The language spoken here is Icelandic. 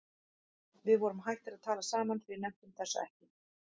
Við vorum hættir að tala saman því við nenntum þessu ekki.